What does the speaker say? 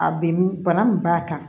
A bɛ m bana min b'a kan